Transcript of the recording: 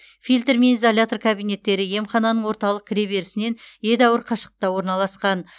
фильтр мен изолятор кабинеттері емхананың орталық кіреберісінен едәуір қашықта орналасқан